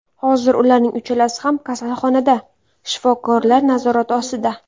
Hozir ularning uchalasi ham kasalxonada, shifokorlar nazorati ostida.